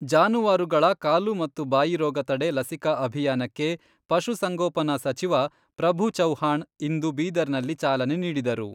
ಜಾನುವಾರುಗಳ ಕಾಲು ಮತ್ತು ಬಾಯಿರೋಗ ತಡೆ ಲಸಿಕಾ ಅಭಿಯಾನಕ್ಕೆ ಪಶು ಸಂಗೋಪನಾ ಸಚಿವ ಪ್ರಭು ಚವ್ಹಾಣ್ ಇಂದು ಬೀದರ್ನಲ್ಲಿ ಚಾಲನೆ ನೀಡಿದರು.